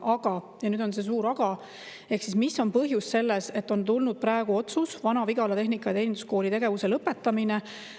Aga – nüüd on see suur aga, ehk mis on põhjus, et on tulnud praegu otsus Vana-Vigala Tehnika- ja Teeninduskooli tegevuse lõpetamiseks.